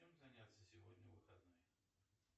чем заняться сегодня в выходной